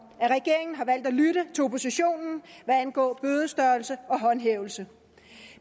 at regeringen har valgt at lytte til oppositionen hvad angår bødestørrelse og håndhævelse